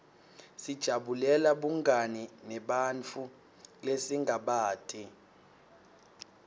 sijabulela bungani nebantfu lesingabati